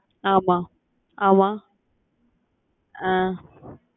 ஆமா ஆமா அஹ்